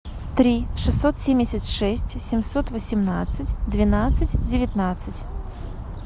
три шестьсот семьдесят шесть семьсот восемнадцать двенадцать девятнадцать